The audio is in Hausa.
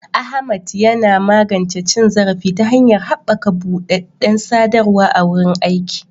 Ahmad yana magance cin zarafi ta hanyar haɓaka buɗaɗɗen sadarwa a wurin aiki.